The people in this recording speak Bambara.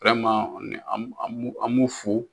an b'u fo